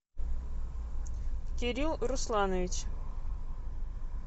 кирилл русланович